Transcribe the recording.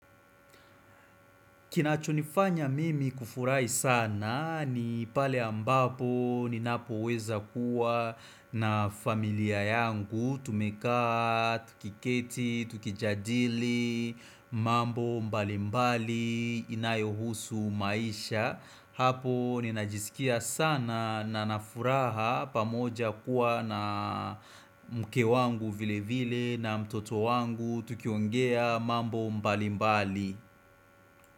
Kinachonifanya mimi kufurahi sana ni pale ambapo ninapoweza kuwa na familia yangu tumekaa, tukiketi, tukijadili, mambo mbalimbali, inayo husu maisha. Hapo ninajisikia sana na na furaha pamoja kuwa na mke wangu vile vile na mtoto wangu tukiongea mambo mbalimbali.